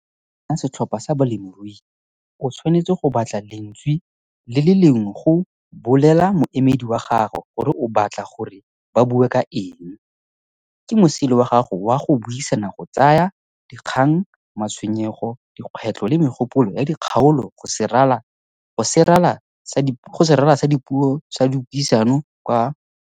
Ka go nna setlhopha sa balemirui, o tshwanetse go batla lentswe le le lengwe go BOLELA MOEMEDI WA GAGO gore o batla gore ba bua ka eng. Ke mosele wa gago wa go buisana go tsaya dikgang, matshwenyego, dikgwetlho le megopolo ya dikgaolo go serala sa puisano kwa Phuthegokgolo.